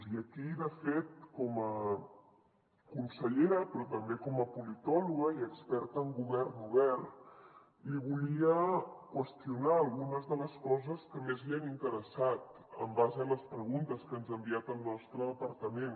i aquí de fet com a consellera però també com a politòloga i experta en govern obert li volia qüestionar algunes de les coses que més li han interessat en base a les preguntes que ens ha enviat al nostre departament